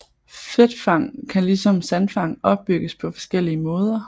Fedtfang kan ligesom sandfang opbygges på forskellige måder